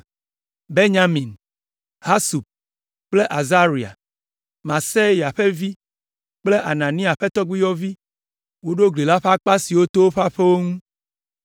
Benyamin, Hasub kple Azaria, Maaseya ƒe vi kple Anania ƒe tɔgbuiyɔvi woɖo gli la ƒe akpa siwo to woƒe aƒewo ŋu.